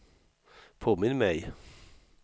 påminn mig